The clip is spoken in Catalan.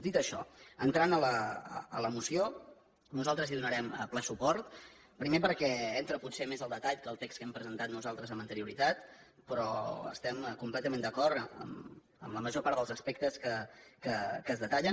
dit això entrant a la moció nosaltres hi donarem ple suport primer perquè entra potser més al detall que el text que hem presentat nosaltres amb anterioritat però estem completament d’acord amb la major part dels aspectes que es detallen